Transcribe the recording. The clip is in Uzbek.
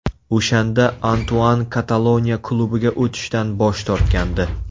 O‘shanda Antuan Kataloniya klubiga o‘tishdan bosh tortgandi.